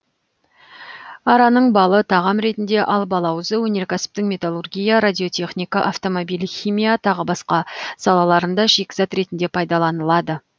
араның балы тағам ретінде ал балауызы өнеркәсіптің металлургия радиотехника автомобиль химия тағы басқа салаларында шикізат ретінде пайдаланылады